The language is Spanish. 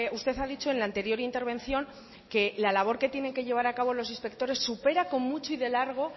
usted ha dicho en la anterior intervención que la labor que tienen que llevar a cabo los inspectores supera con mucho y de largo